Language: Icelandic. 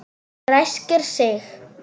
Ræskir sig.